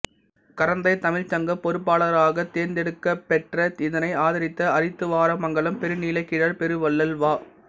கரந்தைத் தமிழ்ச் சங்கப் பொறுப்பாளர்களாகத் தேர்ந்தெடுக்கப் பெற்ற இதனை ஆதரித்த அரித்துவாரமங்கலம் பெருநிலக் கிழார் பெருவள்ளல் வா